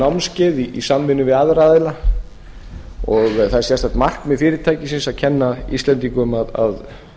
vínsmökkunarþjónustu vínsmökkunarnámskeið í samvinnu við aðra aðila og það er sérstakt markmið fyrirtækisins að kenna íslendingum að